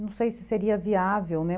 Não sei se seria viável, né?